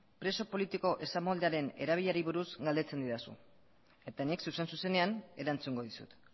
preso politiko esamoldearen erabilerari buruz galdetzen didazu eta nik zuzen zuzenean erantzungo dizut